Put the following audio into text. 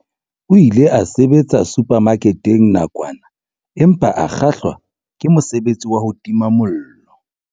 O ile a sebetsa suphamaketeng nakwana empa a kgahlwa ke mosebetsi wa ho tima mollo.